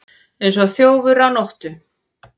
Eins og þjófur á nóttu